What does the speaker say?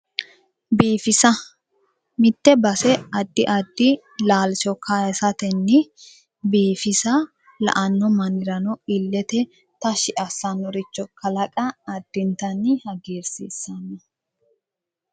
Biifisa mitte base addi addi laalcho kaasatenni biifisa la'anno mannirano illete tashshi assannoricho kalaqa addintanni hagiirsiissanno